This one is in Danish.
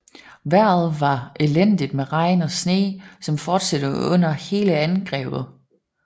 Vejret var elendigt med regn og sne som fortsatte under hele angrebet